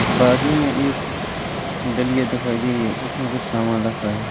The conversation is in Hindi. बाजू में एक डलिया दिखाई दे रही है उसमें कुछ सामान रखा है।